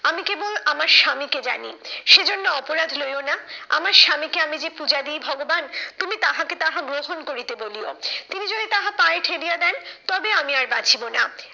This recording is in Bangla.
আমি কেবল আমার স্বামীকে জানি, সে জন্য অপরাধ লইয়ো না, আমার স্বামীকে আমি যে পূজা দি ভগবান তুমি তাহাকে তাহা গ্রহণ করিতে বলিও, তিনি যদি তাহা পায়ে ঠেলিয়া দেন তবে আমি আর বাঁচিব না।